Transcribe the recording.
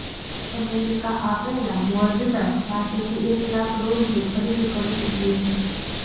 America આ પહેલાં Moderna પાસેથી એક લાખ ડોઝની ખરીદી કરી ચૂક્યું છે